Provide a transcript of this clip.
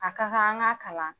A ka kan an ga kalan